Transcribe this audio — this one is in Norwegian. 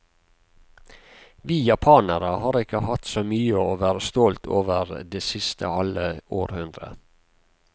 Vi japanere har ikke hatt så mye å være stolt over det siste halve århundret.